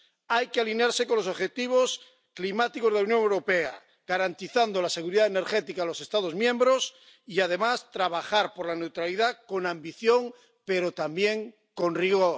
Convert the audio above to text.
Hay que alinearse con los objetivos climáticos de la Unión Europea, garantizando la seguridad energética a los Estados miembros y, además, trabajar por la neutralidad con ambición, pero también con rigor.